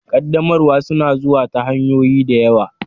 Ƙaddamarwa suna zuwa ta hanyoyi da yawa.